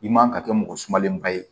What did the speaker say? I man ka kɛ mɔgɔ sumalenba ye